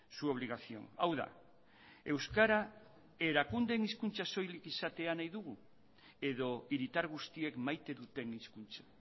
su obligación hau da euskara erakundeen hizkuntza soilik izatea nahi dugu edo hiritar guztiek maite duten hizkuntza